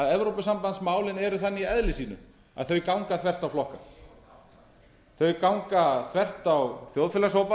evrópusambandsmálin eru þannig í eðli sínu að þau ganga þvert á flokka þau ganga þvert á þjóðfélagshópa en ég